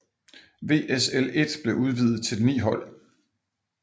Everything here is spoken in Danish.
WSL 1 blev udvidet til ni hold